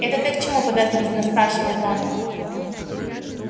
это ты к чему подозрительно спрашивает он